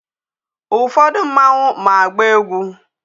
Ụfọdụ mmanwụ ma agba egwu.